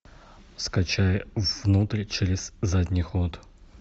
скачай внутрь через задний ход